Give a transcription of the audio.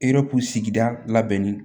Erku sigida labɛnni